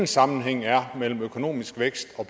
sammenhæng er mellem økonomisk vækst og